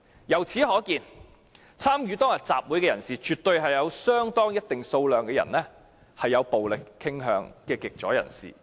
由此可見，參與當天集會的人士當中，有一定數量是有暴力傾向的極左人士。